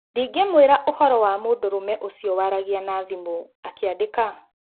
"Ndingĩmwira ũhoro wa mũndũrũme ũcio waragia na thimũ," akĩandika.